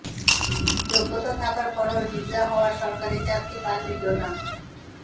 যোগ্যতা থাকার পরও হিজড়া হওয়ায় সরকারি চাকরি পাননি জোনাক